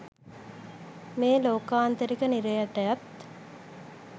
මේ ලෝකාන්තරික නිරයටත්